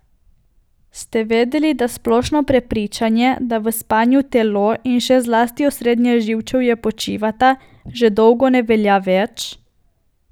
Ste vedeli, da splošno prepričanje, da v spanju telo in še zlasti osrednje živčevje počivata, že dolgo ne velja več?